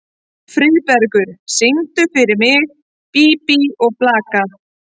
Friðbergur, syngdu fyrir mig „Bí bí og blaka“.